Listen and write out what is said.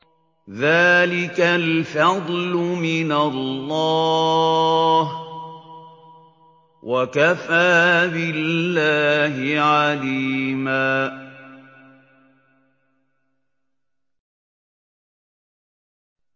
ذَٰلِكَ الْفَضْلُ مِنَ اللَّهِ ۚ وَكَفَىٰ بِاللَّهِ عَلِيمًا